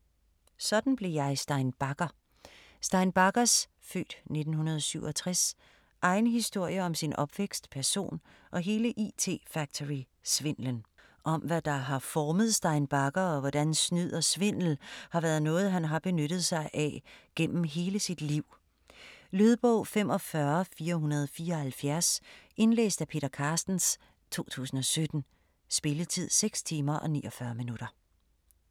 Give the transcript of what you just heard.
Sådan blev jeg Stein Bagger Stein Baggers (f. 1967) egen historie om sin opvækst, person og hele IT Factory svindlen. Om hvad der har formet Stein Bagger og hvordan snyd og svindel har været noget han har benyttet sig af gennem hele sit liv. Lydbog 45474 Indlæst af Peter Carstens, 2017. Spilletid: 6 timer, 49 minutter.